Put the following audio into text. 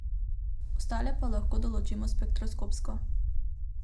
Ostale pa lahko določimo spektroskopsko.